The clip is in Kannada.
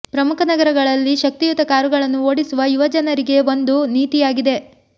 ಪ್ರಮುಖ ನಗರಗಳಲ್ಲಿ ಶಕ್ತಿಯುತ ಕಾರುಗಳನ್ನು ಓಡಿಸುವ ಯುವ ಜನರಿಗೆ ಒಂದು ನೀತಿಯಾಗಿದೆ